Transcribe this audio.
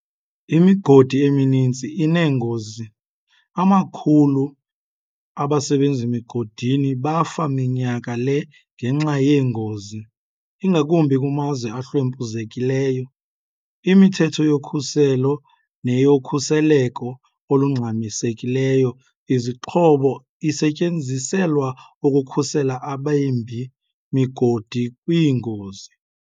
Imigodi emininzi ineengozi. amakhulu abasebenzi migodini bafa minyaka le ngenxa yeengozi, ingakumbi kumazwe ahlwempuzekileyo. imithetho yokhuseleko neyokhuseleko olungxamisekileyo izixhobo isetyenziselwa ukukhusela abembi migodini kwiingozi.